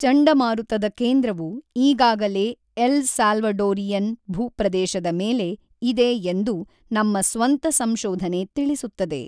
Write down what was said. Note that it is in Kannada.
ಚಂಡಮಾರುತದ ಕೇಂದ್ರವು ಈಗಾಗಲೇ ಎಲ್ ಸಾಲ್ವಡೋರಿಯನ್ ಭೂಪ್ರದೇಶದ ಮೇಲೆ ಇದೆ ಎಂದು ನಮ್ಮ ಸ್ವಂತ ಸಂಶೋಧನೆ ತಿಳಿಸುತ್ತದೆ.